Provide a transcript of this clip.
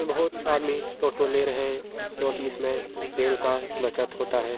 बहुत से आदमी टोटो ले रहे है क्यूंकि इसमे तेल का बचत होता है।